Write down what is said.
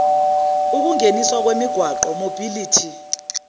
ukungeniswa kwemigwaqo mobility